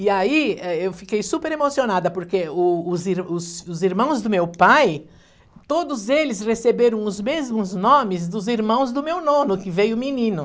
E aí, eh, eu fiquei super emocionada, porque o os ir os irmãos do meu pai, todos eles receberam os mesmos nomes dos irmãos do meu nono, que veio menino.